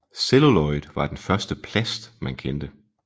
Celluloid var den første plast man kendte